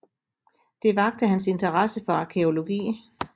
Det vakte hans interesse for arkæologi